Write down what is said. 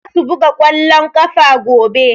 Za su buga ƙwallon ƙafa gobe.